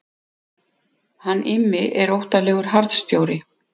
Hann Immi er óttalegur harðstjóri.